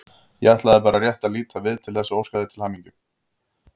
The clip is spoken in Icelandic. Ég ætlaði bara rétt að líta við til þess að óska þér til hamingju.